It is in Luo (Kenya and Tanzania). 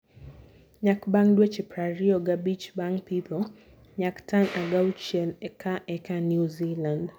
Nyak bang dweche prariyo gabich bang pitho- Nyak: Tan apagauchiel ka eka New Zealand.